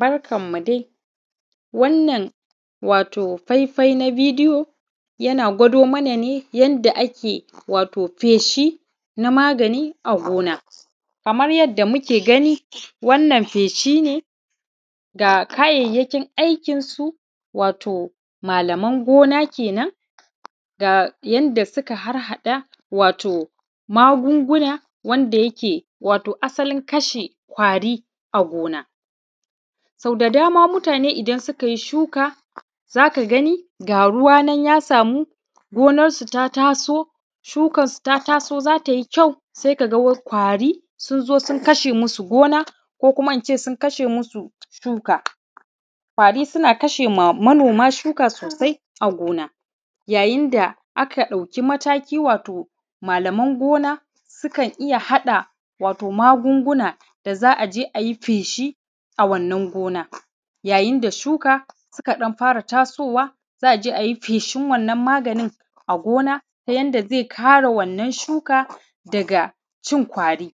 Barkanmu dai wannan wato faifai na bidiyo ya gwado mana ne wato yadda ake feshi. Kamar yadda muke gani Wannan feshi ne ga kayyakin aikinsu wato malaman gona kenan yadda suka harhaɗa magungunan wanda yake wato asalin kashe ƙwari a gona. Sau da dama mutane idan suka yi shuka za ka gani ga ruwa nan ya samu shukansu ta taso za ta yi ƙyau sai ka ga ƙwari sun zo sun kashe musu gona ko sun kashe musu shuka. Ƙwari su na kashe ma manoma shuka sosai a gona yayin da aka ɗauki mataki da gona sukan iya haɗa magungunan da za a je yi feshi a wannan gonan yayin da shuka suka ɗan fara tasowa za a je a yi feshi wannan maganin a gona ta yadda zai ƙare daga cin ƙwari.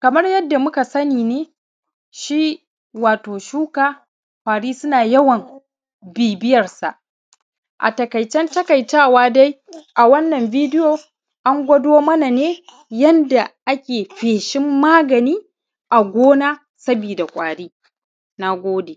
Kamar yadda muka sani ne shuka ƙwari suna yawan bibiyarsa. A taikaicen takaitawa dai a wannan bidiyo an gwado mana ne yadda ake feshin maganin a gona saboda ƙwari na gona.